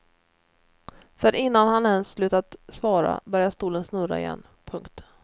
För innan han ens slutat svara börjar stolen snurra igen. punkt